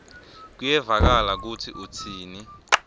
kuyevakala kutsi utsini